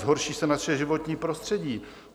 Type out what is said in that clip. Zhorší se naše životní prostředí.